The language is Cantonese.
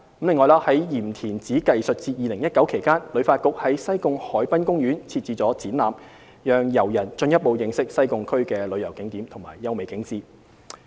此外，在"鹽田梓藝術節 2019" 期間，旅發局在西貢海濱公園設置了展覽，讓遊人進一步認識西貢區的旅遊景點及優美景致。